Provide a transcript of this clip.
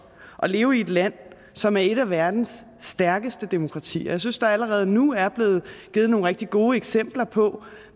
at leve i et land som er et af verdens stærkeste demokratier og jeg synes der allerede nu er blevet givet nogle rigtig gode eksempler på